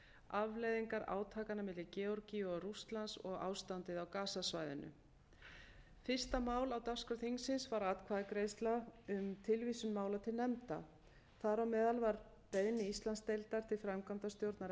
afleiðingar átakanna milli georgíu og rússlands og ástandið á gazasvæðinu fyrsta mál á dagskrá þingsins var atkvæðagreiðsla um tilvísun mála til nefnda þar á meðal var beiðni íslandsdeildar til framkvæmdastjórnar